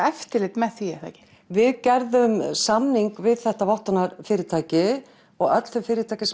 eftirlit með því eða hvað við gerðum samning við þetta vottunarfyrirtæki og öll fyrirtæki